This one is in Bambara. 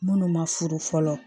Minnu ma furu fɔlɔ